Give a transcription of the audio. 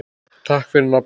Takk fyrir nafnið.